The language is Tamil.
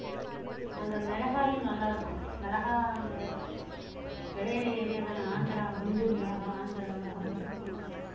அங்க மிளகாயும் நல்லா இருக்கும் மிளகா விளையிற area தானே ஆந்திர குண்டூர் மிளகாய் ஆந்திரா மிளகான்னு சொல்லுவாங்களே